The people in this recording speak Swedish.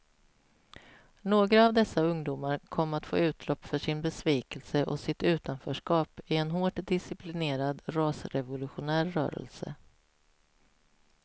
Några av dessa ungdomar kom att få utlopp för sin besvikelse och sitt utanförskap i en hårt disciplinerad rasrevolutionär rörelse.